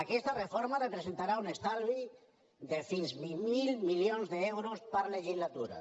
aquesta reforma representarà un estalvi de fins a veinte mil milions d’euros per legislatura